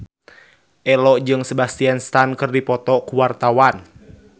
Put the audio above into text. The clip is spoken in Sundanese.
Ello jeung Sebastian Stan keur dipoto ku wartawan